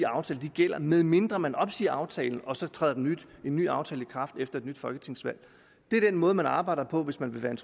aftale gælder medmindre man opsiger aftalen og så træder en ny aftale i kraft efter et nyt folketingsvalg det er den måde man arbejder på hvis man vil være en